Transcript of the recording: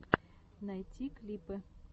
найти клипы